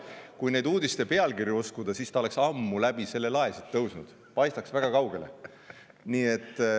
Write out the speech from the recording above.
Kui neid uudiste pealkirju uskuda, siis ta oleks ammu siit läbi selle lae tõusnud ja paistaks väga kaugele.